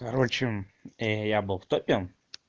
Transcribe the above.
короче и я был в топе